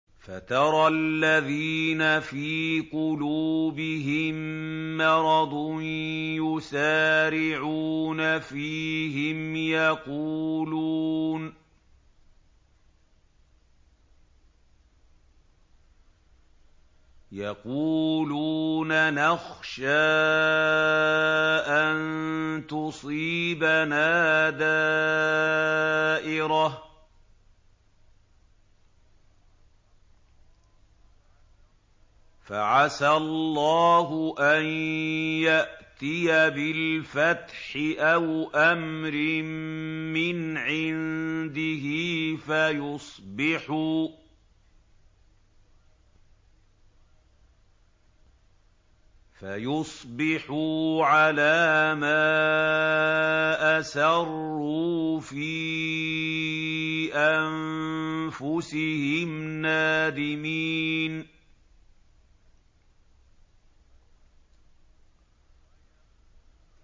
فَتَرَى الَّذِينَ فِي قُلُوبِهِم مَّرَضٌ يُسَارِعُونَ فِيهِمْ يَقُولُونَ نَخْشَىٰ أَن تُصِيبَنَا دَائِرَةٌ ۚ فَعَسَى اللَّهُ أَن يَأْتِيَ بِالْفَتْحِ أَوْ أَمْرٍ مِّنْ عِندِهِ فَيُصْبِحُوا عَلَىٰ مَا أَسَرُّوا فِي أَنفُسِهِمْ نَادِمِينَ